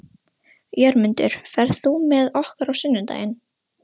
Jörmundur, ferð þú með okkur á sunnudaginn?